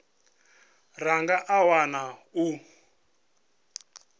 ra nga a wana u